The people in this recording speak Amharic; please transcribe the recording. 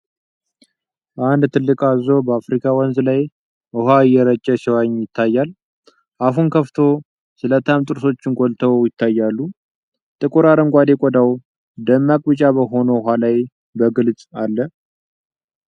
አንድ ትልቅ አዞ በአፍሪካ ወንዝ ላይ ውሃ እየረጨ ሲዋኝ ይታያል። አፉን ከፍቶ፣ ስለታም ጥርሶቹ ጎልተው ይታያሉ። ጥቁር አረንጓዴ ቆዳው ደማቅ ቢጫ በሆነው ውሃ ላይ በግልጽአለ።